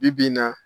Bi bi in na